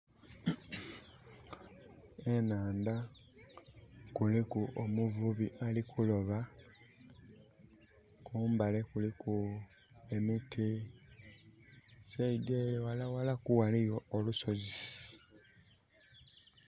Enhandha kuliku omuvubi alikuloba. Kumbali kuliku emiti saidi eyo walawalaku waliyo olusozi.